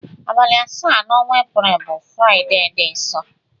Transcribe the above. Abali asa na ọnwa april bu friday di nsọ.